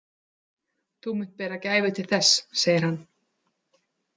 Þú munt bera gæfu til þess, segir hann.